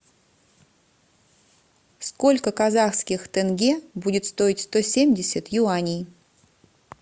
сколько казахских тенге будет стоить сто семьдесят юаней